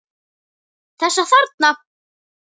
Þessa þarna!